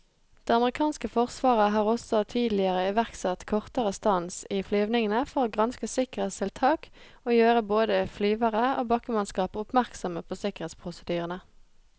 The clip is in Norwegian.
Det amerikanske forsvaret har også tidligere iverksatt kortere stans i flyvningene for å granske sikkerhetstiltak og gjøre både flyvere og bakkemannskap oppmerksomme på sikkerhetsprosedyrene.